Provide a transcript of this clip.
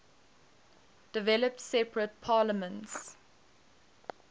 developed separate parliaments